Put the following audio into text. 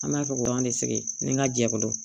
An b'a fɔ k'an de sigi ni n ka jɛkulu